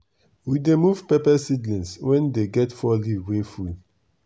we dey move pepper seedling wen dem get four leaf wey full.